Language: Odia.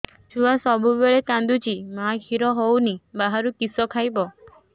ଛୁଆ ସବୁବେଳେ କାନ୍ଦୁଚି ମା ଖିର ହଉନି ବାହାରୁ କିଷ ଖାଇବ